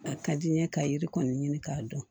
A ka di n ye ka yiri kɔni ɲini k'a dɔn